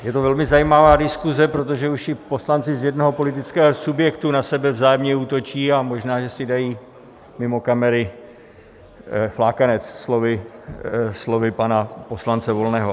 Je to velmi zajímavá diskuse, protože už i poslanci z jednoho politického subjektu na sebe vzájemně útočí, a možná že si dají mimo kamery flákanec, slovy pana poslance Volného.